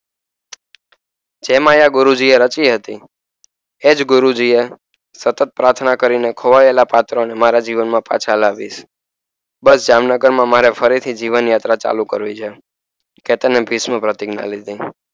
એમાં પણ ગુરુજી એ જ ગુરુજી એ સતત પાર્થના કરી ને ખોવાયેલા પાત્રો ને મારા જીવન માં પાછા લાવીએ બસ જામનગર માં ફરી થી જીવન યાત્રા ચાલુ કરવી છે કેતને